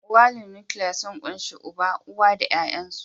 Iyalin nukiliya sun ƙunshi uba, uwa da ya'yansu.